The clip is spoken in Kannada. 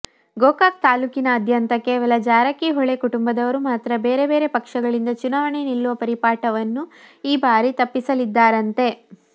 ಗೋಕಾಕ್ ತಾಲೂಕಿನಾದ್ಯಂತ ಕೇವಲ ಜಾರಕಿಹೊಳಿ ಕುಟುಂಬದವರು ಮಾತ್ರ ಬೇರೆ ಬೇರೆ ಪಕ್ಷಗಳಿಂದ ಚುನಾವಣೆ ನಿಲ್ಲುವ ಪರಿಪಾಠವನ್ನು ಈ ಬಾರಿ ತಪ್ಪಿಸಲಿದ್ದಾರಂತೆ